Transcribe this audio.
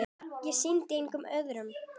Ég sýndi enga iðrun.